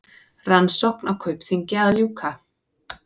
Rannsókn á Kaupþingi að ljúka